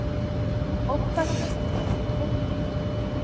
åtta tusen trehundrasjuttio